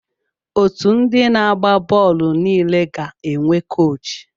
Otu ndị na-agba bọọlụ niile ga-enwe koochi.